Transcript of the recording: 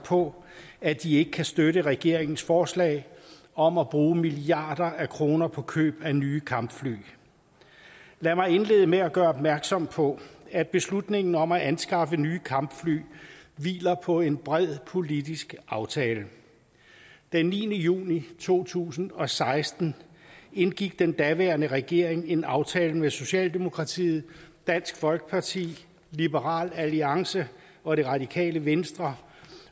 på at de ikke kan støtte regeringens forslag om at bruge milliarder af kroner på køb af nye kampfly lad mig indlede med at gøre opmærksom på at beslutningen om at anskaffe nye kampfly hviler på en bred politisk aftale den niende juni to tusind og seksten indgik den daværende regering en aftale med socialdemokratiet dansk folkeparti liberal alliance og det radikale venstre